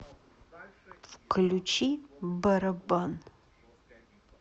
включи барабан